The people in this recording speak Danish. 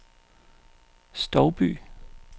Stouby